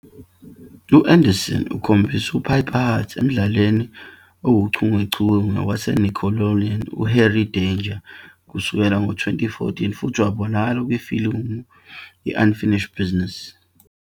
U-Anderson ukhombise uPiper Hart emdlalweni owuchungechunge waseNickelodeon "uHenry Danger" kusukela ngo-2014, futhi wabonakala kwifilimu i- "Unfinished Business".